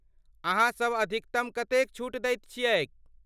अहाँसभ अधिकतम कतेक छूट दैत छियैक ?